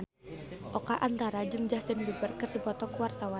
Oka Antara jeung Justin Beiber keur dipoto ku wartawan